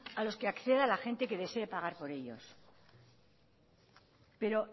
a los que acceda la gente que desee pagar por ellos pero